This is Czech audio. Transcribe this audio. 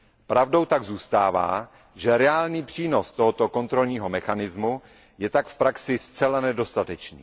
Pravdou tak zůstává, že reálný přínos tohoto kontrolního mechanismu je v praxi zcela nedostatečný.